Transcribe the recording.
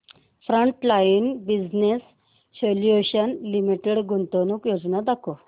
frontline business solutions limited गुंतवणूक योजना दाखव